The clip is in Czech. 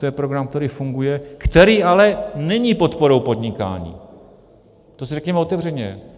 To je program, který funguje, který ale není podporou podnikání, to si řekněme otevřeně.